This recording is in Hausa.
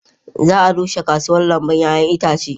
Za a rushe kasuwar lambun 'ya'yan itace.